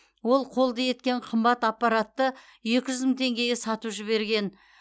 ол қолды еткен қымбат аппаратты екі жүз мың теңгеге сатып жіберген